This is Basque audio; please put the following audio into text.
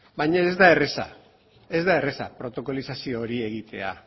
baina ez da erraza ez da erraza protokolizazio hori egitea